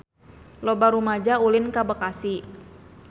Loba rumaja ulin ka Bekasi